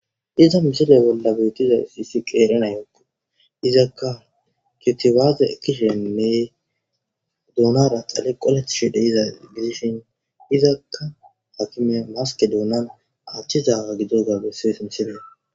Iza misile bolla betiza issi qeerenayokko izakka kitiwaaze ekkishe nee duunara xale qoletishe dehiza gidishin izakka hakimiya maske doonan achchizaaga gidoga bessibes misile..